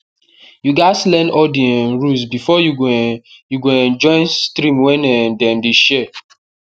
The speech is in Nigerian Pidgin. you gas learn all di um rules before you go um you go um join stream wey um dem dey share